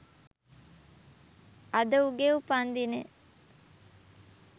අද උගේ උපන්දිනය